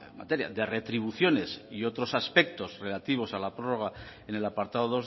materia de retribuciones y otros aspectos relativos a la prórroga en el apartado